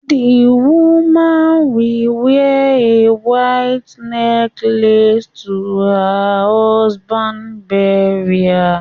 The woman will wear a white necklace to her husband's burial